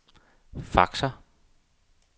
faxer